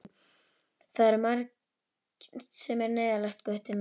Það er margt sem er neyðarlegt, Gutti minn.